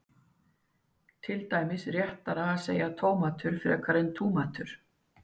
er til dæmis réttara að segja tómatur frekar en túmatur